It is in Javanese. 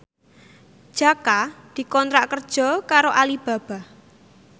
Jaka dikontrak kerja karo Alibaba